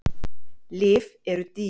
Lyf eru dýr.